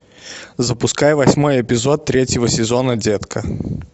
запускай восьмой эпизод третьего сезона детка